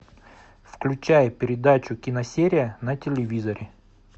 включай передачу киносерия на телевизоре